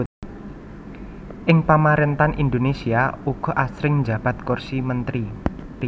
Ing Pamarèntahan Indonésia uga asring njabat kursi mentri